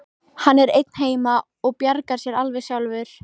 Hann er einn heima og bjargar sér alveg sjálfur.